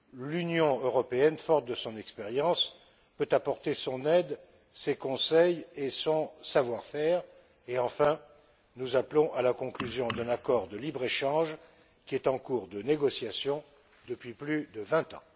L'Union européenne, forte de son expérience, peut apporter son aide, ses conseils et son savoir faire et, enfin, nous appelons à la conclusion d'un accord de libre échange qui est en cours de négociation depuis plus de vingt ans.